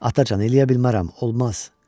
Atacan, eləyə bilmərəm, olmaz.